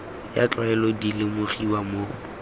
ya tlwaelo di lemogiwa mo